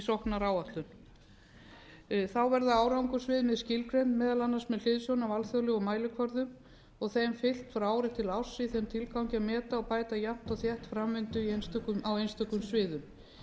sóknaráætlun árangursviðmið verða skilgreind meðal annars með hliðsjón af alþjóðlegum mælikvörðum og þeim fylgt frá ári til árs í þeim tilgangi að meta og bæta jafnt og þétt framvindu á einstökum sviðum